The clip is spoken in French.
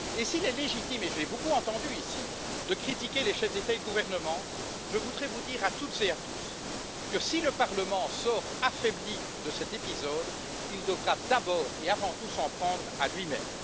Et s'il est légitime et je l'ai beaucoup entendu dans cette enceinte de critiquer les chefs d'État et de gouvernement, je voudrais vous dire à toutes et à tous que si le Parlement sort affaibli de cet épisode, il devra d'abord et avant tout s'en prendre à lui même.